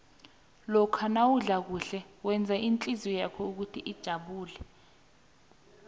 lokha nawudla kuhle wenza ihlizwakho ijabule